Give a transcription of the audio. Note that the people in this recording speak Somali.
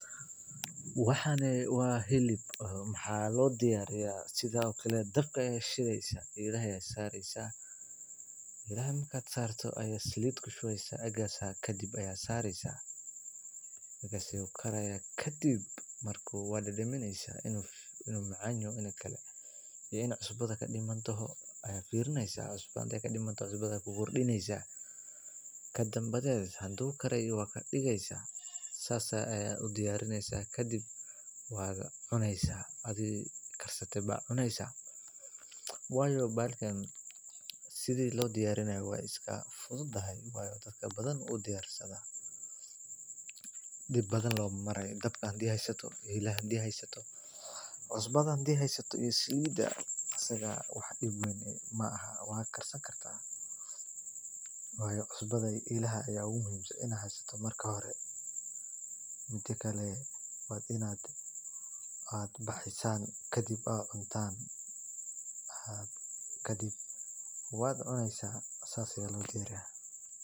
Waxani waa hilib waxaa loo diyaariya dabka ayaa shideysa kadib eela ayaa saareysa salid ayaa ku dareysa waad ku rideysa kadib cusba ayaa ku rideysa kadib waad cuneysa sida loo diyaariya waay fududahay wax dib weyn maahan waa karsan kartaa waa inaad baxeysan oo aad cuntaan kadib waad cuneysa saas ayaa loo diyaariya.